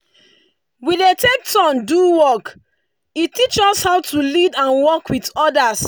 we dey take turn do work e teach us how to lead and work with others.